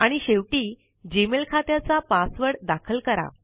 आणि शेवटी जीमेल खात्याचा पासवर्ड दाखल करा